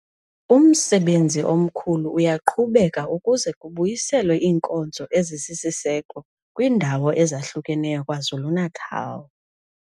Umsebenzi omkhulu uyaqhubeka ukuze kubuyiselwe iinkonzo ezisisiseko kwiindawo ezahlukeneyo KwaZulu-Natal.